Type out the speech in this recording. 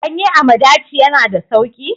Ganye a madaci ya na da sauki?